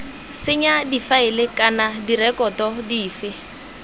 senya difaele kana direkoto dife